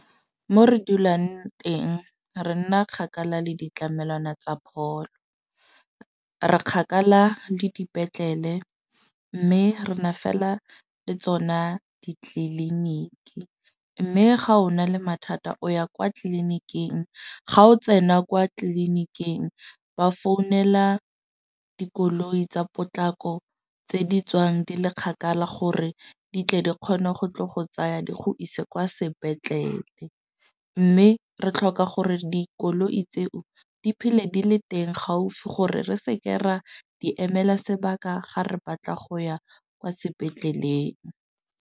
Mo re dulang teng re nna kgakala le ditlamelwana tsa pholo. Re kgakala le dipetlele. Mme re na fela le tsona ditliliniki. Mme ga o na le mathata o ya kwa tleliniking, ga o tsena kwa tleliniking ba founela dikoloi tsa potlako tse di tswang di le kgakala gore di tle di kgone go tle go tsaya di go ise kwa sepetlele. Mme re tlhoka gore dikoloi tseo di phele di le teng gaufi gore, re seke ra di emela sebaka ga re batla go ya kwa sepetleleng.